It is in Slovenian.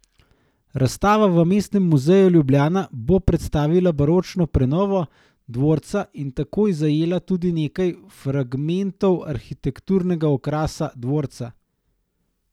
Razstava v Mestnem muzeju Ljubljana bo predstavila baročno prenovo dvorca in tako zajela tudi nekaj fragmentov arhitekturnega okrasa dvorca.